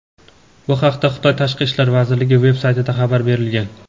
Bu haqda Xitoy Tashqi ishlar vazirligi veb-saytida xabar berilgan.